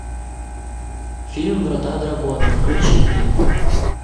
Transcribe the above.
фильм врата дракона включи мне